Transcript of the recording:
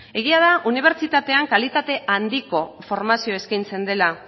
egia da unibertsitatean kalitate handiko formazioa eskaintzen dela